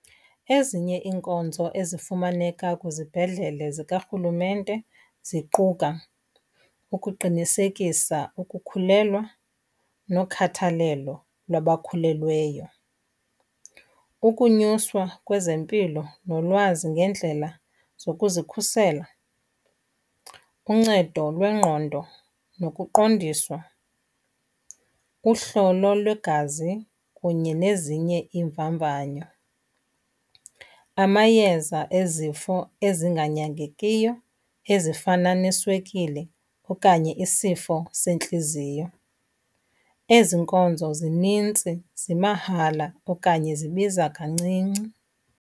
Ezinye iinkonzo ezifumaneka kwizibhedlele zikarhulumente ziquka ukuqinisekisa ukukhulelwa nokhathalelo lwabakhulelweyo, ukunyuswa kwezempilo nolwazi ngendlela zokuzikhusela, uncedo lwengqondo nokuqondiswa, uhlolo lwegazi kunye nezinye iimvamvanyo. Amayeza ezifo ezinganyangekiyo ezifana neswekile okanye isifo sentliziyo. Ezi nkonzo zinintsi zimahala okanye zibiza kancinci.